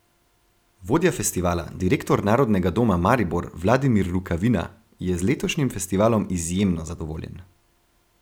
Vodja festivala, direktor Narodnega doma Maribor Vladimir Rukavina, je z letošnjim festivalom izjemno zadovoljen.